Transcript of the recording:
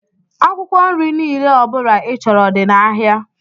Akwụkwọ nri niile ọbula i chọrọ dị n' áhiá.